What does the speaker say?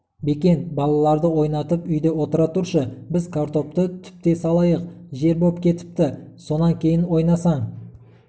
бекен балаларды ойнатып үйде отыра тұршы біз картопты түптей салайық жер боп кетіпті сонан кейін ойнасаң